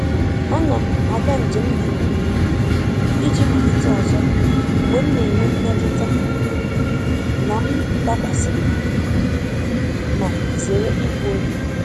A na m aga njem dị mkpirikpi iji malite ọzọ mgbe m na-enwe mmetụta na m dakwasịrị, ma zere igbu oge.